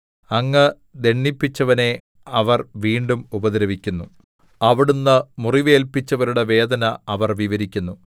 അങ്ങ് ദണ്ഡിപ്പിച്ചവനെ അവർ വീണ്ടും ഉപദ്രവിക്കുന്നു അവിടുന്ന് മുറിവേല്പിച്ചവരുടെ വേദന അവർ വിവരിക്കുന്നു